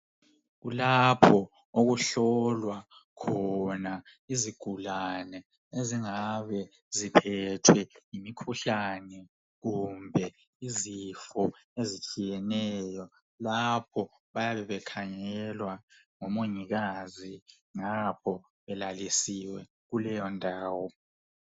Kulapho okuhlolwa khona izigulane ezingabe ziphethwe ngumkhuhlane kumbe izifo ezitshiyeneyo. Lapho bayabe bekhangelwa ngomongikazi ngapho belalisiwe kuleyo indawo.